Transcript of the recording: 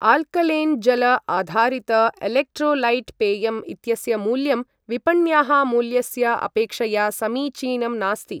Alkaline जल आधारित electrolyte पेयम् इत्यस्य मूल्यं विपण्याः मूल्यस्य अपेक्षया समीचीनं नास्ति।